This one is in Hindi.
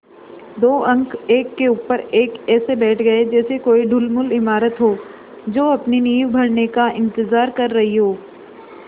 दो अंक एक के ऊपर एक ऐसे बैठ गये जैसे कोई ढुलमुल इमारत हो जो अपनी नींव भरने का इन्तज़ार कर रही हो